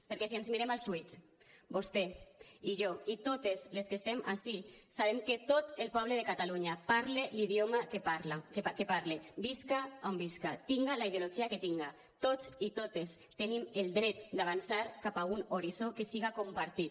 perquè si ens mirem als ulls vostè i jo i totes les que estem ací sabem que tot el poble de catalunya parle l’idioma que parle visca on visca tinga la ideologia que tinga tots i totes tenim el dret d’avançar cap a un horitzó que siga compartit